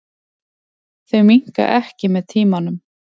Þau minnka ekki með tímanum.